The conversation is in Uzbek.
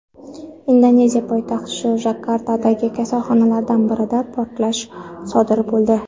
Indoneziya poytaxti Jakartadagi kasalxonalardan birida portlash sodir bo‘ldi.